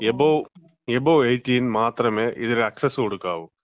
Above, above 18 മാത്രമേ ഇതിന് access കൊടുക്കാവു.